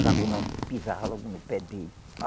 Quando não pisava logo no pé dele.